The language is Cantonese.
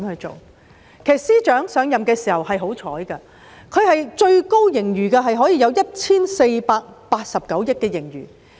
陳茂波司長上任的時候很幸運，盈餘最高的時候達 1,489 億元。